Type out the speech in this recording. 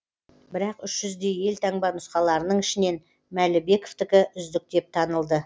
бірақ үш жүздей елтаңба нұсқаларының ішінен мәлібековтікі үздік деп танылды